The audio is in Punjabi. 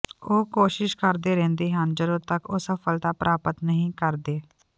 ਉਹ ਕੋਸ਼ਿਸ਼ ਕਰਦੇ ਰਹਿੰਦੇ ਹਨ ਜਦੋਂ ਤੱਕ ਉਹ ਸਫਲਤਾ ਪ੍ਰਾਪਤ ਨਹੀਂ ਕਰਦੇ